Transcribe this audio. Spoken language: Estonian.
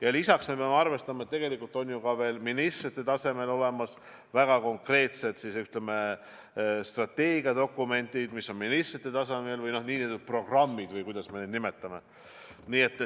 Ja lisaks peame arvestama, et tegelikult on ju ka veel ministrite tasemel olemas väga konkreetsed strateegiadokumendid, mis on ministrite tasemel programmid või kuidas me neid nimetame.